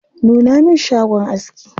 Nuna min shagon aski.